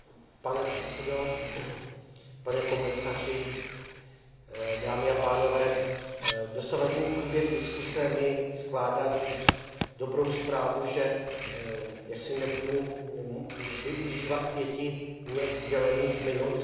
Pane předsedo, pane komisaři, dámy a pánové, dosavadní průběh diskuse mi vkládá do úst dobrou zprávu, že nebudu využívat pěti mně udělených minut.